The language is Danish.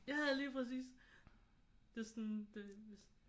Ja ja lige præcis. Det er sådan det